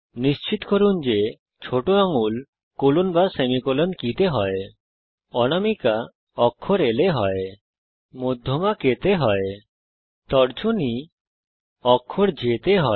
নিশ্চিত করুন যে ছোট আঙুল কোলন সেমিকোলন কী তে হয় অনামিকা অক্ষর L এ হয় মধ্যমা অক্ষর K তে হয় তর্জনী অক্ষর J তে হয়